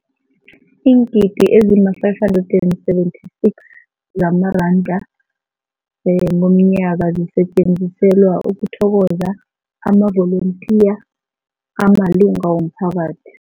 Iingidi ezima-576 zamaranda ngomnyaka zisetjenziselwa ukuthokoza amavolontiya amalunga womphakathi.